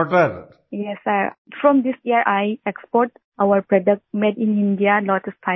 Vijayashanti ji yes sir from this year I export our product made in India lotus fibre